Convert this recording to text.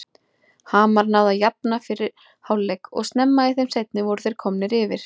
Hamar náði að jafna fyrir hálfleik og snemma í þeim seinni voru þeir komnir yfir.